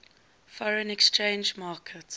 foreign exchange market